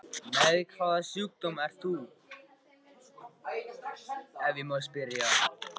Með hvaða sjúkdóm ert þú, ef ég má spyrja?